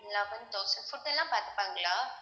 eleven thousand food எல்லாமே பாத்துப்பாங்களா